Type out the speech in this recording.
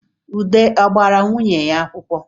Ude ọ gbara nwunye ya akwụkwọ